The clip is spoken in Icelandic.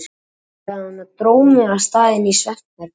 Komdu, sagði hún og dró mig af stað inn í svefnherbergi.